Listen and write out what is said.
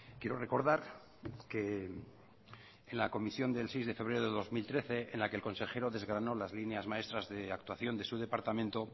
quiero recordar que en la comisión del seis de febrero de dos mil trece en la que el consejero desgranó las líneas maestras de actuación de su departamento